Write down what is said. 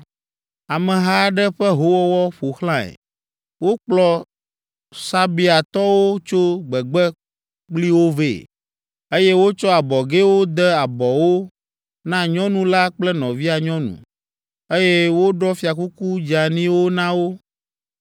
“Ameha aɖe ƒe howɔwɔ ƒo xlãe. Wokplɔ Sabeatɔwo tso gbegbe kpli wo vɛ, eye wotsɔ abɔgɛwo de abɔwo na nyɔnu la kple nɔvia nyɔnu, eye woɖɔ fiakuku dzeaniwo na wo.